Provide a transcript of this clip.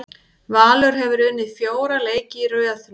Valur hefur unnið fjóra leiki í röð núna.